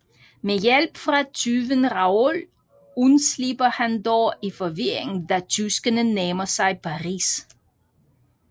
Med hjælp fra tyven Raoul undslipper han dog i forvirringen da tyskerne nærmer sig Paris